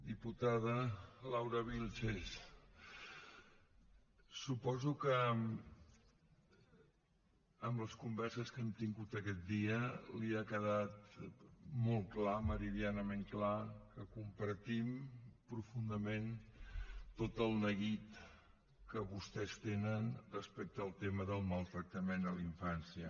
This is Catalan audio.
diputada laura vílchez suposo que amb les converses que hem tingut aquests dies li ha quedat molt clar meridianament clar que compartim profundament tot el neguit que vostès tenen respecte al tema del maltractament a la infància